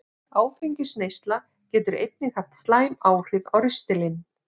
Áfengisneysla getur einnig haft slæmt áhrif á ristilinn.